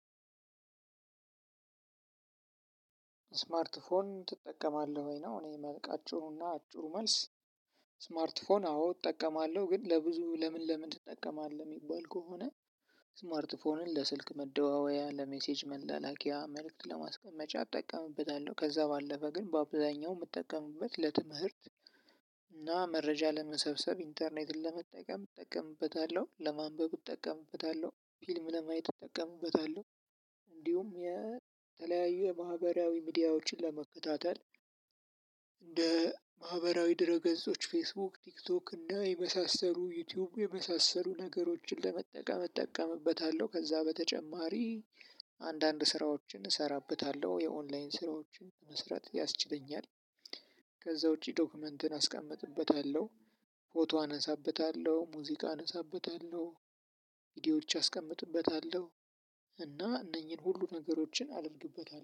ስማርት ስልክ ትጠቀማለህ ወይ ነው? እኔ የማውቀው እና አጩሩ መልስ። ስማርት ፎን አዎ እጠቀማለሁ ግን ለብዙ ለምን ለምን ትጠቀማለህ የሚባል ከሆነ። ስማርት ስልክ ለስልክ መደዋወያ ለሜሴጅ መላላኪያ መልእክት ለማስቀመጫ እጠቀምብታለሁ ከዛ ባለፈ ግን በአብዛኛው የምትጠቀምበት ለትምህርት እና መረጃ ለመሰብሰብ ኢንተርኔትን ለመጠቀም እጠቀምበታለሁ ለማንበብ እጠቀምበታለሁ ፊልም ለማየት እጠቀምበታለሁ። እንዲሁም የተለያዩ የማህበራዊ ሚዲያዎችን ለመከታተል። እንደ ማህበራዊ ድረ ገጾች ፌስቡክ ቲክቶክ እና የመሳሰሉ ዩቲዩብ የመሳሰሉ ነገሮችን ለመጠቀም እጠቀምበታለሁ። ከዛ በተጨማሪ አንዳንድ ስራዎችን እሰራበታለሁ የኦንላይን ስራዎችን መስራት ያስችለኛል። ከዛ ውጪ ዶክመንትን አስቀምጥበታለሁ። ፎቶ አነሳበታለሁ ሙዚቃ አነሳበታለሁ። ቪዲዮዎች አስቀምጥበታለሁ። እና እነኚህን ሁሉ ነገሮችን አድርግበታል